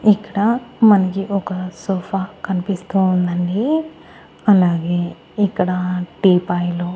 ఇక్కడ మనకి ఒక సోఫా కనిపిస్తూ ఉందండి అలాగే ఇక్కడ టీ పాయలు.